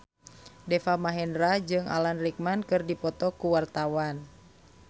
Deva Mahendra jeung Alan Rickman keur dipoto ku wartawan